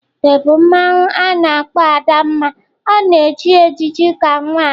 The bụ mmanwu a na-akpọ Adanma ọ na-eji ejiji ka nwanyị.